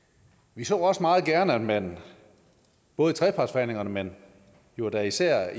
vi så også meget gerne at man både i trepartsforhandlingerne men jo da især